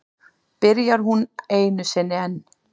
Byrjar hún einu sinni enn.